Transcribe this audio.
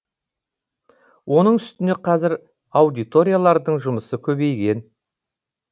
оның үстіне қазір аудиториялардың жұмысы көбейген